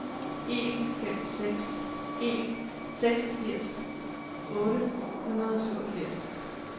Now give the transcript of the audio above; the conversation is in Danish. en fem seks en seksogfirs otte hundrede og syvogfirs